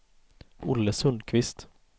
Olle Sundkvist